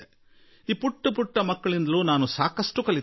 ಈ ಪುಟ್ಟ ಪುಟ್ಟ ಬಾಲಕರಿಂದಲೂ ನಾನು ಬಹಳಷ್ಟು ಕಲಿಯುತ್ತಿದ್ದೆ